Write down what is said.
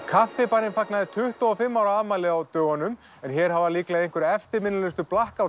kaffibarinn fagnaði tuttugu og fimm ára afmæli á dögunum en hér hafa líklega mörg eftirminnilegustu